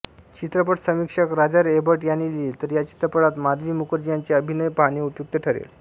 चित्रपट समीक्षक Roger Ebert यांनी लिहिलेः या चित्रपटात माधवी मुखर्जी यांचे अभिनय पाहणे उपयुक्त ठरेल